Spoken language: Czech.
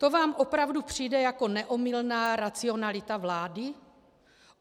To vám opravdu přijde jako neomylná racionalita vlády?